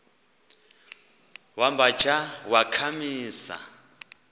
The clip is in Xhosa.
wamba tsha wakhamisa